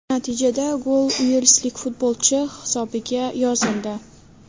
Natijada gol uelslik futbolchi hisobiga yozildi.